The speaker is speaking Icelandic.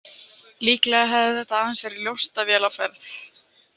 Líklega hafði þetta aðeins verið njósnavél á ferð.